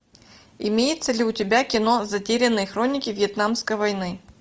имеется ли у тебя кино затерянные хроники вьетнамской войны